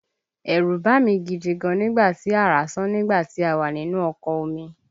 Ẹ̀rù bá mí gidi gan nígbà tí àrá sán nígbà tí a wà nínú ọkọ̀ omi